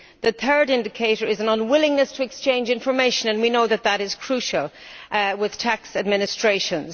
The third indicator is an unwillingness to exchange information, and we know that that is crucial with tax administrations